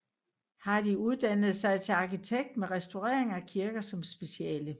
Hardy uddannede sig til arkitekt med restaurering af kirker som speciale